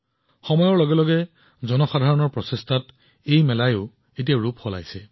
সময়ৰ লগে লগে এতিয়া ৰাইজৰ প্ৰচেষ্টাৰ লগে লগে মাধৱপুৰ মেলাত নতুন বস্তুও যোগ কৰা হৈছে